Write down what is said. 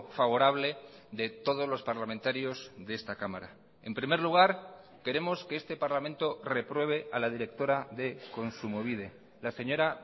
favorable de todos los parlamentarios de esta cámara en primer lugar queremos que este parlamento repruebe a la directora de kontsumobide la señora